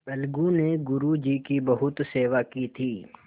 अलगू ने गुरु जी की बहुत सेवा की थी